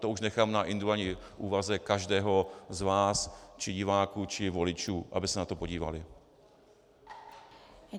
To už nechám na individuální úvaze každého z vás či diváků či voličů, aby se na to podívali.